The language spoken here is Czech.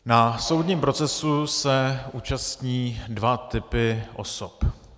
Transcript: Na soudním procesu se účastní dva typy osob.